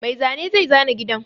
Mai zane zai zana gidan.